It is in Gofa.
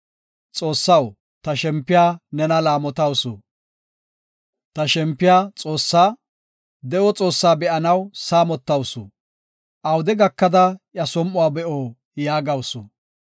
“Ta shempiya Xoossaa, de7o Xoossaa be7anaw saamotawusu; awude gakada iya som7uwa be7o” yaagawusu.